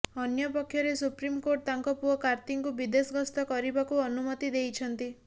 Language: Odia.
ଅନ୍ୟପକ୍ଷରେ ସୁପ୍ରିମକୋର୍ଟ ତାଙ୍କ ପୁଅ କାର୍ତ୍ତିଙ୍କୁ ବିଦେଶ ଗସ୍ତ କରିବାକୁ ଅନୁମତି ଦେଇଛନ୍ତି